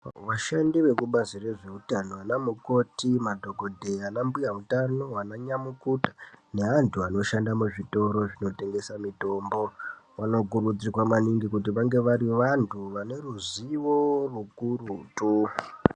Vashandi vemubazi rezveutano vanamukoti madhokodheya na mbuya utano vananyamukuta neandu anoshanda muzvitoro zvinotengesa mutombo vanokurudzirwa maningi kuti vange vari vantu vaneruzivo rukurutu